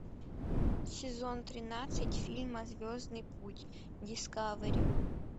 сезон тринадцать фильма звездный путь дискавери